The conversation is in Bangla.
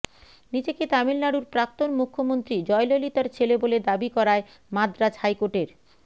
নিজেকে তামিলনাড়ুর প্রাক্তন মুখ্যমন্ত্রী জয়ললিতার ছেলে বলে দাবি করায় মাদ্রাজ হাইকোর্টের